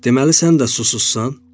Deməli sən də susuzsan?